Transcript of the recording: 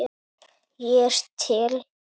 Ég er til